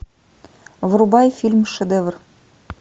врубай фильм шедевр